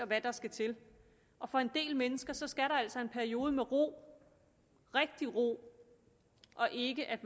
hvad der skal til og for en del mennesker skal der altså en periode til med ro rigtig ro og ikke at